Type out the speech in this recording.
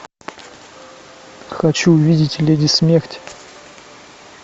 хочу увидеть леди смерть